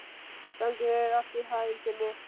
Gangi þér allt í haginn, Simmi.